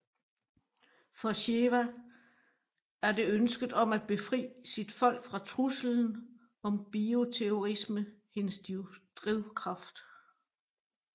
For Sheva er det ønsket om at befrie sit folk fra truslen om bioterrorisme hendes drivkraft